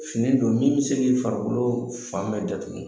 Fini don min bi se k'i farikolo fan bɛɛ datugu.